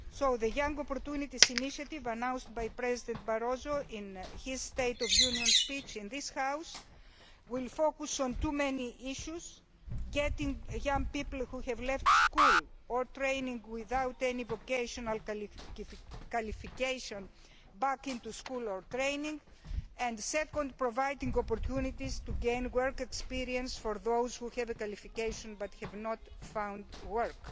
now. The Young Opportunities Initiative announced by President Barroso in his State of the Union speech in this House will focus on many issues, including getting young people who have left school or training without any vocational qualification back into school or training and, secondly, providing opportunities for work experience to those who have a qualification but have not found work.